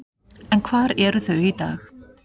En hvar eru þau í dag?